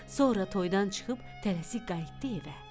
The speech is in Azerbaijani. Sonra toyda çıxıb tələsik qayıtdı evə.